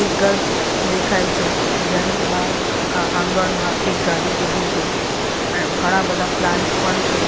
એક ઘર દેખાય છે ઘરની બહાર આંગણમાં એક ગાડી ઉભી છે ઘણા બધા પ્લાન્ટ્સ પણ છે.